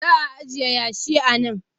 Za a ajiye yashi a nan